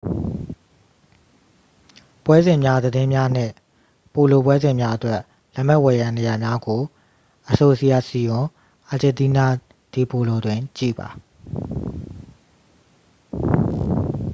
ပွဲစဉ်များသတင်းများနှင့် ပိုလိုပွဲစဉ်များအတွက် လက်မှတ်ဝယ်ရန်နေရာများကို asociacion argentina de polo တွင် ကြည့်ပါ